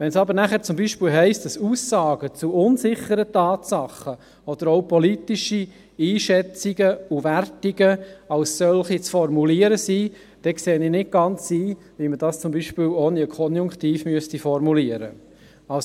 Wenn es aber zum Beispiel heisst, dass Aussagen zu unsicheren Tatsachen oder auch politische Einschätzungen und Wertungen als solche zu formulieren sind, dann sehe ich nicht ganz ein, wie man dies ohne Konjunktiv formulieren sollte.